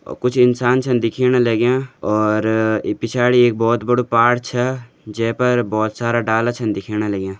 अ-कुछ इंसान छन दिखेण लग्यां और पिछाड़ी एक अभोत बड़ु पहाड़ छा जै पर बहोत सारा डाला छन दिखेण लग्यां।